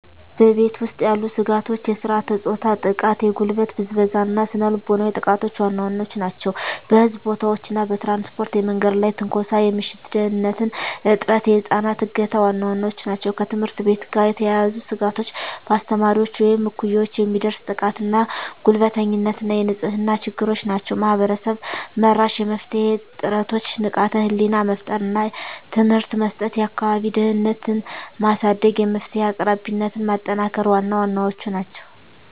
በቤት ውስጥ ያሉ ስጋቶች የሥርዓተ-ፆታ ጥቃ፣ የጉልበት ብዝበዛ እና ስነ ልቦናዊ ጥቃቶች ዋና ዋናዎቹ ናቸው። በሕዝብ ቦታዎች እና በትራንስፖርት የመንገድ ላይ ትንኮሳ፣ የምሽት ደህንንነት እጥረት፣ የህፃናት እገታ ዋና ዋናዎቹ ናቸው። ከትምህርት ቤት ጋር የተያያዙ ስጋቶች በአስተማሪዎች ወይም እኩዮች የሚደርስ ጥቃትና ጉልበተኝነት እና የንጽህና ችግሮች ናቸው። ማህበረሰብ-መራሽ የመፍትሄ ጥረቶች ንቃተ ህሊና መፍጠር እና ትምህርት መስጠት፣ የአካባቢ ደህንነትን ማሳደግ፣ የመፍትሄ አቅራቢነትን ማጠናከር ዋና ዋናዎቹ ናቸው።